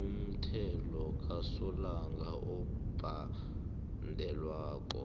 umthelo kasolanga obhadelwako